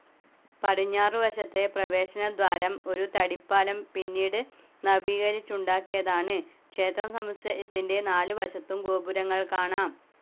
പടിഞ്ഞാറുവശത്തെ പ്രവേശനദ്വാരം ഒരു തടിപ്പാലം പിന്നീട് നവീകരിച്ചുണ്ടാക്കിയതാണ് ക്ഷേത്രസമുച്ചയത്തിൻ്റെ നാല് വശത്തും ഗോപുരങ്ങൾ കാണാം.